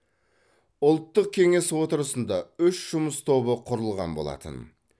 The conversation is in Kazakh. ұлттық кеңес отырысында үш жұмыс тобы құрылған болатын